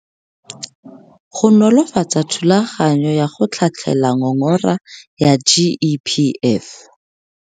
Go nolofatsa thulaganyo ya go tlhatlhela ngongora ya GEPF.